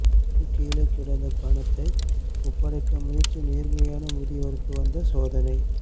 பொது கீழே கிடந்த பணத்தை ஒப்படைக்க முயற்சி நேர்மையான முதியவருக்கு வந்த சோதனை